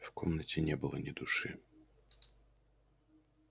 в комнате не было ни души